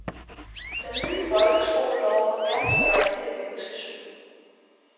Den nye folkeskolelov har ganske rigtigt et menneskesyn.